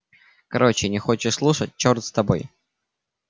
короче не хочешь слушать чёрт с тобой